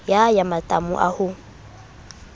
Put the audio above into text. ya ya matamo a ho